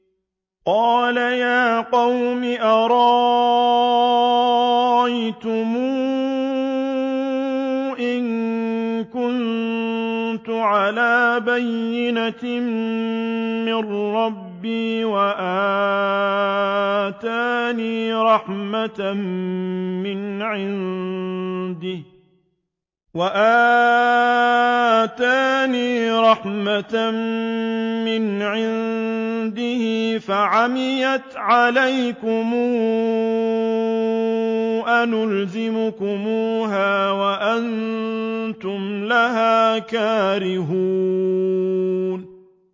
قَالَ يَا قَوْمِ أَرَأَيْتُمْ إِن كُنتُ عَلَىٰ بَيِّنَةٍ مِّن رَّبِّي وَآتَانِي رَحْمَةً مِّنْ عِندِهِ فَعُمِّيَتْ عَلَيْكُمْ أَنُلْزِمُكُمُوهَا وَأَنتُمْ لَهَا كَارِهُونَ